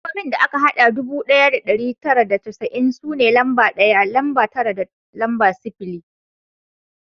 Lambobin da aka hada ɗubu ɗaya da ɗari tara da casa'in su ne lamba ɗaya, lamba tara da lamba sifili